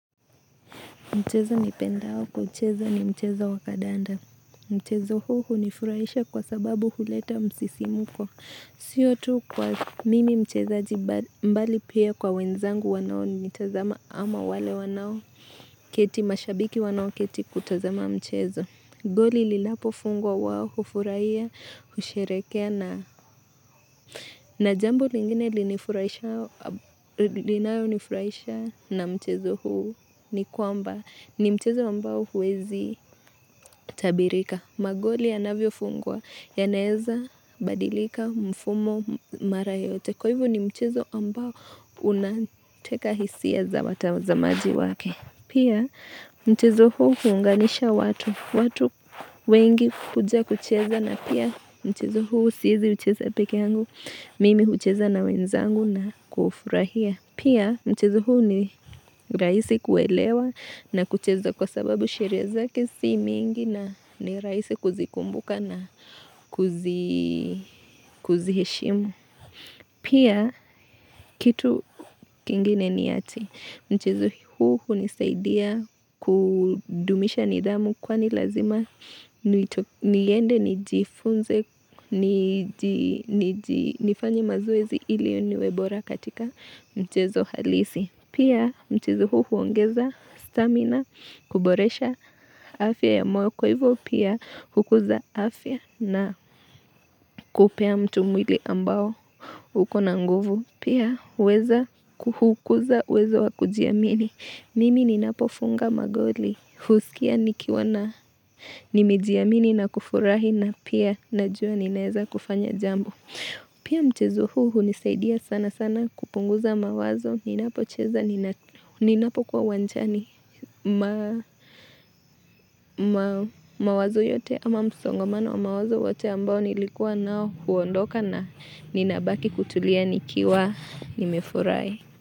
Mchezo nipendao kuucheza ni mchezo wakadanda. Mchezo huu ni furaisha kwa sababu huleta msisimko. Siyo tu kwa mimi mchezo mbali pia kwa wenzangu wanao ni mitazama ama wale wanao keti mashabiki wanao keti kutazama mchezo. Goli lilapo fungwa wao hufurahia, husherekea na jambo lingine linayo nifurahisha na mchezo huu ni kwamba ni mchezo ambao huwezi tabirika. Magoli anavyofungwa yanaeza, badilika, mfumo, mara yote. Kwa hivu ni mchezo ambao unateka hisia za wazamaji wake. Pia mchezo huu huunganisha watu, watu wengi kuja kucheza na pia mchezo huu siezi ucheza peke angu, mimi ucheza na wenzangu na kuhufurahia. Pia mchezo huu ni raisi kuelewa na kucheza kwa sababu sheria zake si mingi na ni raisi kuzikumbuka na kuziheshimu. Pia kitu kingine niati mchezo huu nizaidia kudumisha nidhamu kwani lazima niende nijifunze nifanye mazoezi ili niwe bora katika mchezo halisi. Pia mchizo huu uongeza stamina, kuboresha afya ya moyo kwa hivo pia hukuza afya na kupea mtu mwili ambao huko na nguvu. Pia uweza kuhukuza uwezo wakujiamini. Mimi ninapofunga magoli, husikia nikiwa na nimejiamini na kufurahi na pia najua ninaeza kufanya jambo. Pia mchezo huu unizaidia sana sana kupunguza mawazo, ninapocheza, ninapokuwa uwajani mawazo yote ama msongamano wa mawazo yote ambao nilikuwa na huondoka na ninabaki kutulia nikiwa nimefurai.